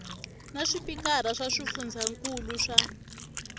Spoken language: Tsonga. na swipikara swa swifundzankulu swa